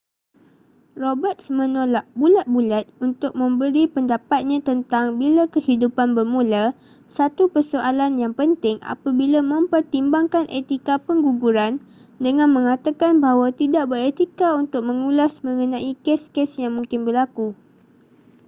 roberts menolak bulat-bulat untuk memberi pendapatnya tentang bila kehidupan bermula satu persoalan yang penting apabila mempertimbangkan etika pengguguran dengan mengatakan bahawa tidak beretika untuk mengulas mengenai kes-kes yang mungkin berlaku